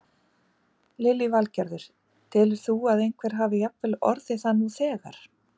Lillý Valgerður: Telur þú að einhver hafi jafnvel orðið það nú þegar?